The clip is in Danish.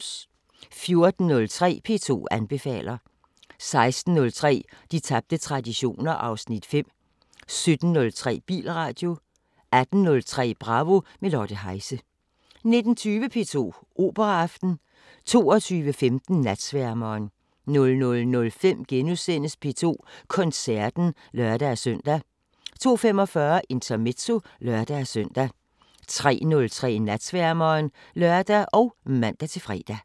14:03: P2 anbefaler 16:03: De tabte traditioner (Afs. 5) 17:03: Bilradio 18:03: Bravo – med Lotte Heise 19:20: P2 Operaaften 22:15: Natsværmeren 00:05: P2 Koncerten *(lør-søn) 02:45: Intermezzo (lør-søn) 03:03: Natsværmeren (lør og man-fre)